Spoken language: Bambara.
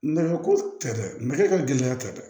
Nɛgɛ ko tɛ dɛ nɛgɛ ka gɛlɛn tɛ